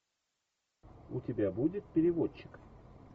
у тебя будет переводчик